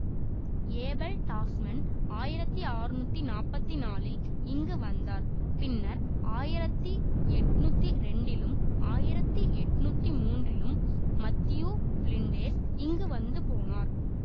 Abel Tasman ஆயிரத்தி அறுநூற்றி நாற்பத்தி நாலில் இங்கு வந்தார் பின்னர் ஆயிரத்தி எண்ணூற்றி ரெண்டிலும் ஆயிரத்தி எண்ணூற்றி மூன்றிலும் மத்தியூ பிலிண்டேர்ஸ் இங்கு வந்து போனார்